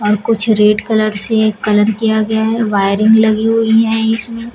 कुछ red colour से colour किया गया है वायरिंग लगी हुई है इसमें।